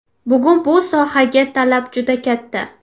Bugun bu sohaga talab juda katta.